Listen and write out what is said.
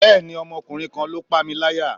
bẹẹni, Ọmọkunrin kan lo pámíláyá